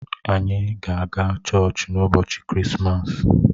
Ànyị ga-aga chọọchị n'ụbọchị Krismas?